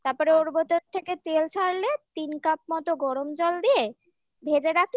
থেকে তেল ছাড়লে তিন কাপ মতো গরম জল দিয়ে ভেজে